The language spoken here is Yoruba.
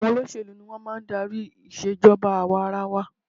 Àwọn olóṣèlú ni wọn máa ń darí ìṣe ìjọba àwa-ara-wa